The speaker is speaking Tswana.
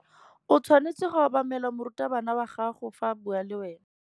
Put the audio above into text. O tshwanetse go obamela morutabana wa gago fa a bua le wena.